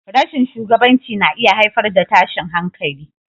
Rashin shugabanci na iya haifar da tashin hankali.